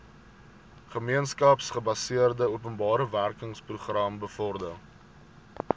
gemeenskapsgebaseerde openbarewerkeprogram bevorder